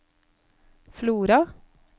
Flora